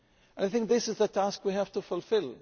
I think this is the task we have to fulfil.